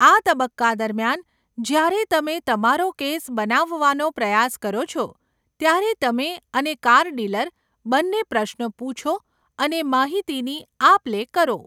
આ તબક્કા દરમિયાન, જ્યારે તમે તમારો કેસ બનાવવાનો પ્રયાસ કરો છો, ત્યારે તમે અને કાર ડીલર બંને પ્રશ્નો પૂછો અને માહિતીની આપ લે કરો.